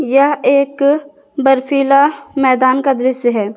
यह एक बर्फीला मैदान का दृश्य है।